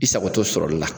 I sagotɔ sɔrɔli la